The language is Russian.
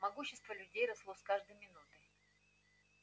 могущество людей росло с каждой минутой